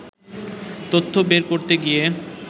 তথ্য বের করতে গিয়ে